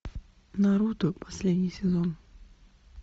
наруто последний сезон